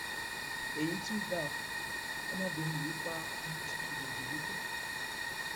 èyí tún ga ọ ọmọbìnrin yìí pa ọmọ tuntun jòjòló tó bí